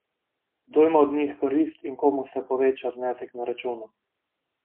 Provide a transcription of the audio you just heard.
Kdo ima od njih korist in komu se poveča znesek na računu?